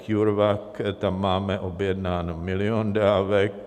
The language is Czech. CureVac, tam máme objednán milion dávek.